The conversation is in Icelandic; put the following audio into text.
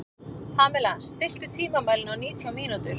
Pamela, stilltu tímamælinn á nítján mínútur.